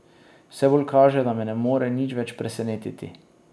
Vse bolj kaže, da me ne more nič več presenetiti.